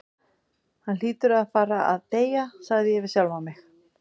Hann hlýtur að fara að deyja, sagði ég við sjálfan mig.